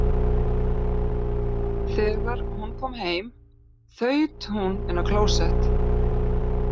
Þegar hún kom heim þaut hún inn á klósett.